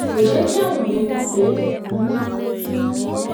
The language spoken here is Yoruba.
kò jé káwọn èèyàn mò pé òun ń